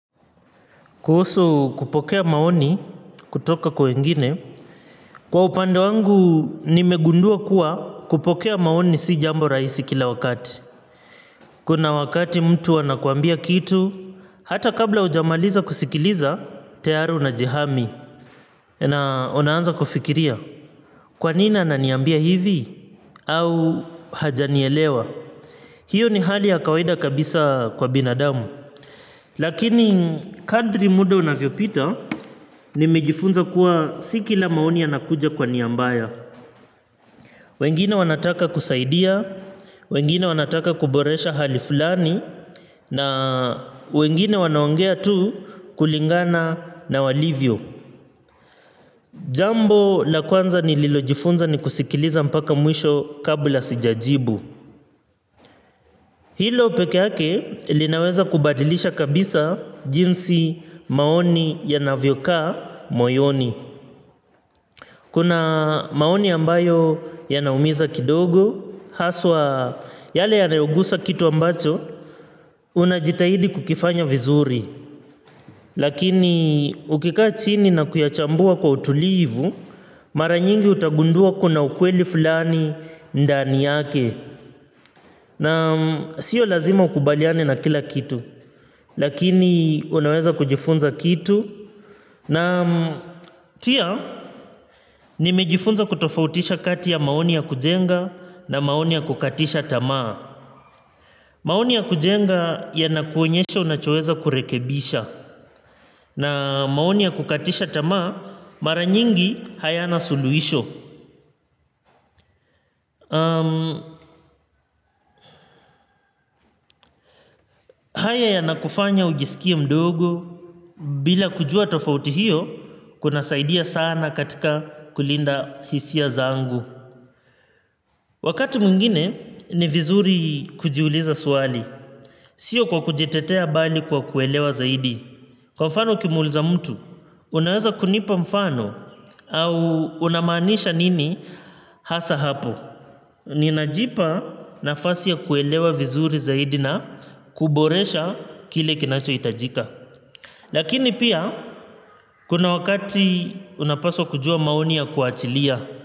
Kuhusu kupokea maoni kutoka kwa wengine kwa upande wangu nimegundua kuwa kupokea maoni si jambo rahisi kila wakati. Kuna wakati mtu anakuambia kitu hata kabla hujamaliza kusikiliza tayari unajihami. Na unaanza kufikiria kwa nini ananiambia hivi? Au hajanielewa? Hiyo ni hali ya kawaida kabisa kwa binadamu. Lakini kadri muda unavyopita nimejifunza kuwa si kila maoni yanakuja kwa nia mbaya. Wengine wanataka kusaidia, wengine wanataka kuboresha hali fulani. Na wengine wanaongea tu kulingana na walivyo. Jambo la kwanza nililojifunza ni kusikiliza mpaka mwisho kabla sijajibu. Hilo peke ake linaweza kubadilisha kabisa jinsi maoni yanavyokaa moyoni. Kuna maoni ambayo yanaumiza kidogo, haswa yale yanayogusa kitu ambacho unajitahidi kukifanya vizuri. Lakini ukikaa chini na kuyachambua kwa utulivu, mara nyingi utagundua kuna ukweli fulani ndani yake. Na sio lazima ukubaliane na kila kitu, lakini unaweza kujifunza kitu. Na pia nimejifunza kutofautisha kati ya maoni ya kujenga na maoni ya kukatisha tamaa. Maoni ya kujenga yanakuonyesha unachoweza kurekebisha. Na maoni ya kukatisha tamaa mara nyingi hayana suluhisho. Haya yanakufanya ujisikie mdogo bila kujua tofauti hiyo kunasaidia sana katika kulinda hisia zangu. Wakati mwingine ni vizuri kujiuliza swali. Sio kwa kujitetea bali kwa kuelewa zaidi. Kwa mfano ukimuuliza mtu, unaweza kunipa mfano au unamaanisha nini hasa hapo. Ninajipa nafasi ya kuelewa vizuri zaidi na kuboresha kile kinachohitajika. Lakini pia, kuna wakati unapaswa kujua maoni ya kuachilia.